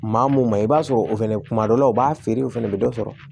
Maa mun ma i b'a sɔrɔ o fɛnɛ kuma dɔ la u b'a feere u fɛnɛ bɛ dɔ sɔrɔ